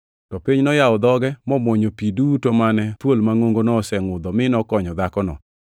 To piny noyawo dhoge, momwonyo pi duto mane thuol mangʼongono nosengʼudho, mi nokonyo dhakono.